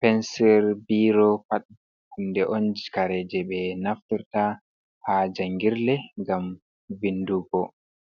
pensir, biro pat huunde on kare jey ɓe naftrta haa jangirle ngam vindugo.